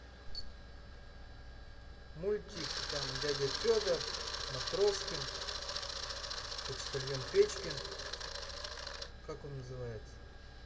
мультик там дядя федор матроскин почтальон печкин как он называется